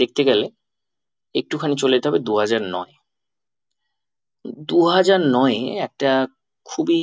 দেখতে গেলে একটুখানি চলে যেতে হবে দুহাজার নয় দুহাজার নয় এ একটা খুবই